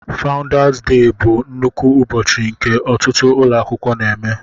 fáudás déh bụ nnukwu ụbọchị nke ọtụtụ ụlọ akwụkwọ na-eme